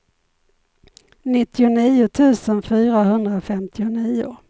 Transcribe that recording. nittionio tusen fyrahundrafemtionio